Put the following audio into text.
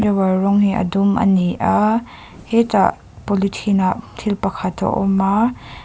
drawer rawng hi a dum ani a hetah polythene ah thil pakhat a awm a.